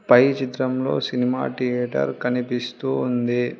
పై చిత్రంలో cinema theatre కనిపిస్తూ ఉంది.